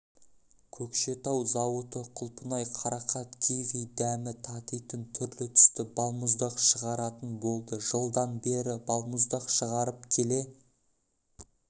көкшетау зауыты құлпынай қарақат киви дәмі татитын түрлі-түсті балмұздақ шығаратын болды жылдан бері балмұздақ шығарып келе